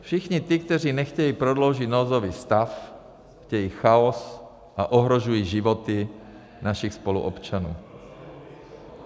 Všichni ti, kteří nechtějí prodloužit nouzový stav, chtějí chaos a ohrožují životy našich spoluobčanů.